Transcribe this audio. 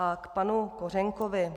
A k panu Kořenkovi.